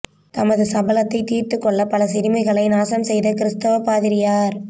தனது சபலத்தை தீர்த்து கொள்ள பல சிறுமிகளை நாசம் செய்த கிறிஸ்தவ பாதிரியார்